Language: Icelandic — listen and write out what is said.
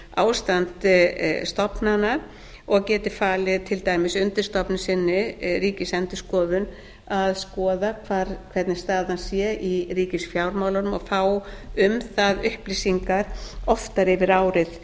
ástand stofnana og geti falið til dæmis undirstofnun sinni ríkisendurskoðun að skoða hvernig staðan sé í ríkisfjármálunum og fá um það upplýsingar oftar yfir árið